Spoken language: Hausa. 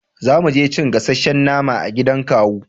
za muje cin gasashen nama a gidan kawu